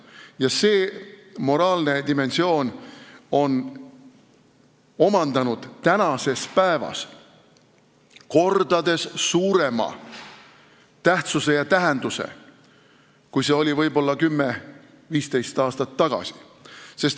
Ja see moraalne dimensioon on omandanud tänasel päeval kordades suurema tähtsuse ja tähenduse, kui see oli võib-olla 10–15 aastat tagasi.